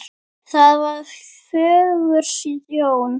Það var fögur sjón.